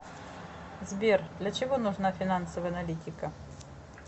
сбер для чего нужна финансовая аналитика